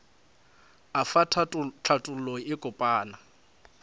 efa hlathollo e kopana ya